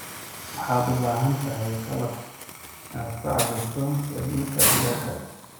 Waxaad u baahan tahay qalab aad ku cabbirto heerkulka digaagga.